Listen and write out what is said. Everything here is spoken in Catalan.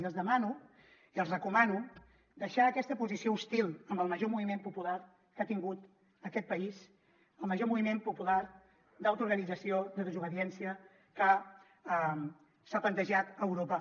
i els demano i els recomano deixar aquesta posició hostil amb el major moviment popular que ha tingut aquest país el major moviment popular d’autoorganització de desobediència que s’ha plantejat a europa